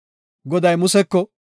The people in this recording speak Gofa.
Goday Museko,